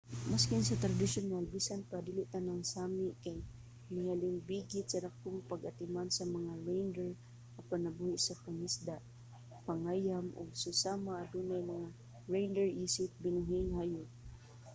maskin sa tradisyonal bisan pa dili tanang sámi kay nahilambigit sa dakong pag-atiman sa mga reindeer apan nabuhi sa pangisda pangayam ug susama adunay mga reindeer isip binuhing hayop